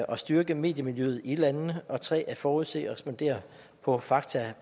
og styrke mediemiljøet i landene og 3 at forudse og respondere på fakta